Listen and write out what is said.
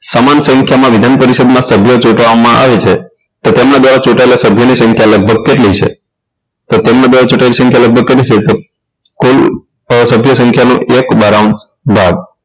સમાન સંખ્યામાં વિધાન પરિષદના સભ્યો ચૂંટવામાં આવે છે તો તેમના દ્વારા ચૂંટાયેલા સભ્યોની સંખ્યા લગભગ કેટલી છે તો તેમના દ્વારા ચૂંટાયેલ સંખ્યા લગભગ કેટલી છે તો કુલ સભ્ય સંખ્યા નો એક બારાઉંશ ભાગ